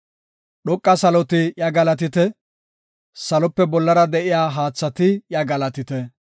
Dhoqa saloti iya galatite; Salope bollara de7iya haathati iya galatite.